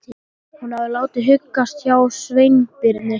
Hún hafði látið huggast hjá Sveinbirni.